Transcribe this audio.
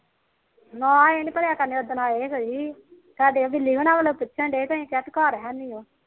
ਨਾ ਇਹ ਨੀ ਭਰਿਆ ਕਰਨੇ ਪਿਟਣਡੇ ਘਰ